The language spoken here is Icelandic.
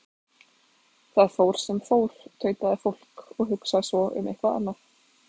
Það fór sem fór, tautaði fólk, og hugsaði svo um eitthvað annað.